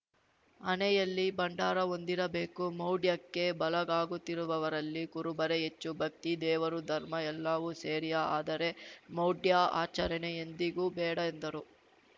ಹಣೆಯಲ್ಲಿ ಭಂಡಾರ ಹೊಂದಿರಬೇಕು ಮೌಢ್ಯಕ್ಕೆ ಬಳಗಾಗುತ್ತಿರುವವರಲ್ಲಿ ಕುರುಬರೇ ಹೆಚ್ಚು ಭಕ್ತಿ ದೇವರು ಧರ್ಮ ಎಲ್ಲವೂ ಸೇರಿಯೇ ಆದರೆ ಮೌಢ್ಯ ಆಚರಣೆ ಎಂದಿಗೂ ಬೇಡ ಎಂದರು